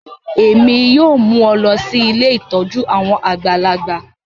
Èmi yoo mu ọ lọ si ilé ìtójú àwon àgbàlagbà